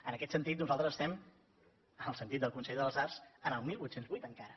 en aquest sentit nosaltres estem en el sentit del consell de les arts en el divuit zero vuit encara